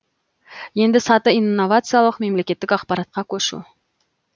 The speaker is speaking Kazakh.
ендігі саты инновациялық мемлекеттік аппаратқа көшу